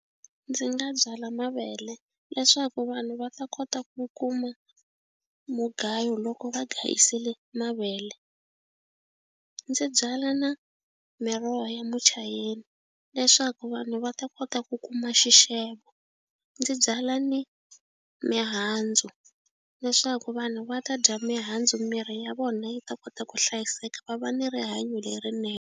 Ndzi nga byala mavele leswaku vanhu va ta kota ku kuma mugayo loko va gangisele mavele. Ndzi byala na miroho ya muchayeni leswaku vanhu va ta kota ku kuma xixevo. Ndzi byala ni mihandzu leswaku vanhu va ta dya mihandzu miri ya vona yi ta kota ku hlayiseka va va ni rihanyo lerinene.